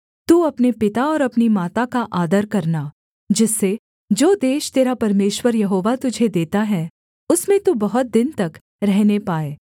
तू अपने पिता और अपनी माता का आदर करना जिससे जो देश तेरा परमेश्वर यहोवा तुझे देता है उसमें तू बहुत दिन तक रहने पाए